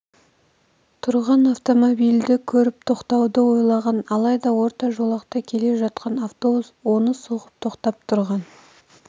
тұрған автомобильді көріп тоқтауды ойлаған алайда орта жолақта келе жатқан автобус оны соғып тоқтап тұрған